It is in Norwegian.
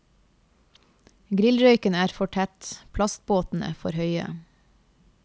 Grillrøyken er for tett, plastbåtene for høye.